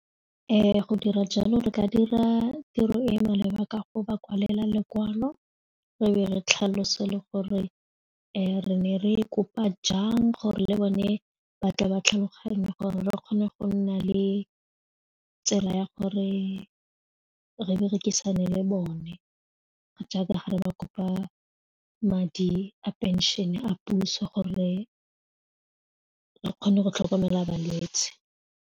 Go dira jalo re ka dira tiro e e maleba ka go ba kwalela lokwalo re be re tlhalose le gore re ne re kopa jang gore le bone batla ba tlhaloganye gore re kgone go nna le tsela ya gore re berekisane le bone jaaka ga re ba kopa madi a pension-e a puso gore a kgone go tlhokomela balwetsi.